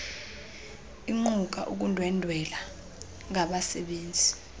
iquka ukundwendwela ngabasebenzi